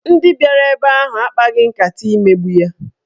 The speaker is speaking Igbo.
Ndị bịara ebe ahụ akpaghị nkata imegbu ya.